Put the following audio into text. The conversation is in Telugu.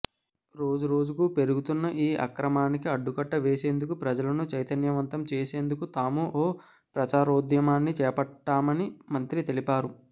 రోజురోజుకూ పెరుగుతున్న ఈ అక్రమానికి అడ్డుకట్ట వేసేందుకు ప్రజలను చైతన్యవంతం చేసేందుకు తాము ఓ ప్రచారోద్యమాన్ని చేపట్టామని మంత్రి తెలిపారు